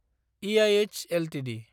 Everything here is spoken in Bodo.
ईऐऎच एलटिडि